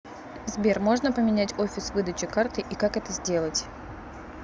сбер можно поменять офис выдачи карты и как это сделать